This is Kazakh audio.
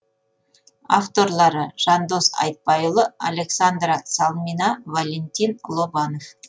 авторлары жандос айтбайұлы александра салмина валентин лобанов